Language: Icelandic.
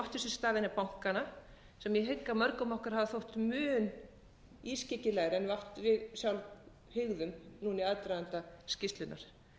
áttu sér stað innan bankanna sem ég hygg að mörgum okkur hafi þótt mun ískyggilegri en við samt hugðum í aðdraganda skýrslunnar